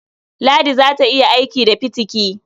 Ladi za ta iya aiki da fitiki.